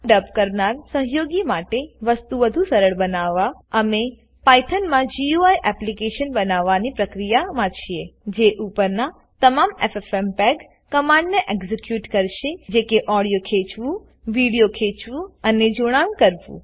ડબ કરનાર સહયોગીઓ માટે વસ્તુ વધુ સરળ બનાવવાઅમે પાઈથનમાં ગુઈ એપ્લીકેશન બનાવવાની પ્રક્રિયા માં છે જે ઉપરના તમામ ffmpegકમાંડને એક્ઝીક્યુટ કરશે -જે કે ઓડીઓ ખેચવું વિડીઓ ખેચવું અને જોડાણ કરવું